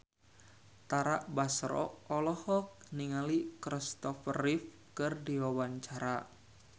Tara Basro olohok ningali Kristopher Reeve keur diwawancara